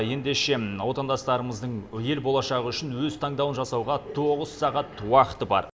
ендеше отандастарымыздың ел болашағы үшін өз таңдауын жасауға тоғыз сағат уақыты бар